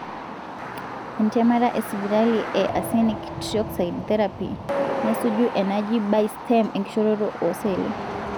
entemata esipitali e arsenic trioxide therapy nesuju enaji bye stem enkishoroto oseli.